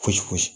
Gosi